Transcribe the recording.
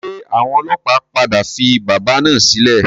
Ṣé àwọn ọlọ́pàá padà fi bábà náà sílẹ̀?